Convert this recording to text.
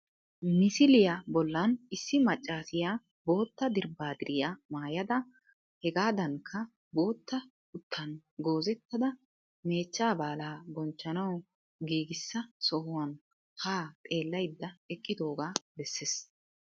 Misiliya bollan issi maccaasiya bootta dirbbaadiriya maayada hegaadankka bootta kutan goizettada meechchaa baalaa bonchchanawu giigisa sohuwan haa xeellaydda eqqidoogaa bessees